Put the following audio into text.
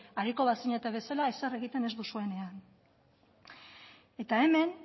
ariko bazinete bezala ezer egiten ez duzuenean eta hemen